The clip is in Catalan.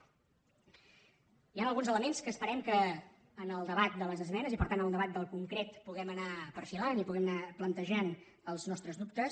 hi han alguns elements que esperem que en el debat de les esmenes i per tant en el debat del concret puguem anar perfilant i puguem anar plantejant els nostres dubtes